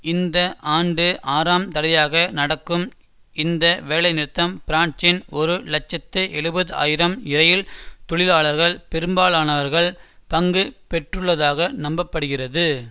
இந்த ஆண்டு ஆறாம் தடவையாக நடக்கும் இந்த வேலைநிறுத்தம் பிரான்சின் ஒரு இலட்சத்து எழுபது ஆயிரம் இரயில் தொழிலாளர்களில் பெரும்பாலானவர்கள் பங்கு பெற்றுள்ளதாக நம்ப படுகிறது